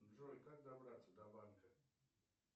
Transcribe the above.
джой как добраться до банка